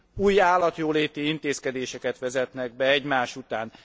Új állatjóléti intézkedéseket vezetnek be egymás után.